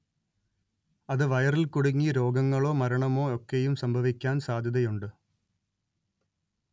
അത് വയറിൽ കുടുങ്ങി രോഗങ്ങളോ മരണമോ ഒക്കെയും സംഭവിക്കാൻ സാധ്യതയുണ്ട്